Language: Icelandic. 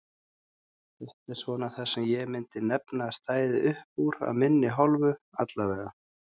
Þetta er svona það sem ég myndi nefna að stæði uppúr af minni hálfu allavega.